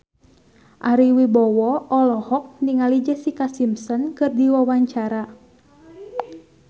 Ari Wibowo olohok ningali Jessica Simpson keur diwawancara